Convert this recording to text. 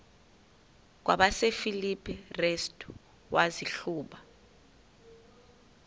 kwabasefilipi restu wazihluba